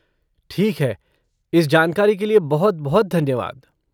ठीक है, इस जानकारी के लिए बहुत बहुत धन्यवाद।